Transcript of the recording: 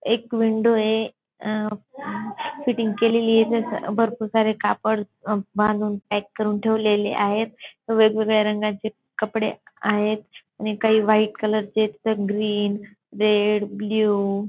एक विंडोय अं अं फिटिंग केलेलीय जसं भरपूर सारे कापड बांधून पॅक करून ठेवलेले आहेत वेगवेगळ्या रंगाचे कपडे आहेत आणि काही व्हाईट कलरचे तर काही ग्रीन रेड ब्लू --